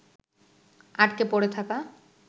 আটকে পড়ে থাকা